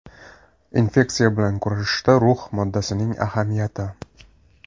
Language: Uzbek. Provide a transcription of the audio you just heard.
Infeksiya bilan kurashishda rux moddasining ahamiyati.